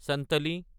চানতালী